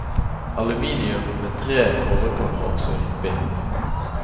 Aluminium med tre forekommer også hyppig.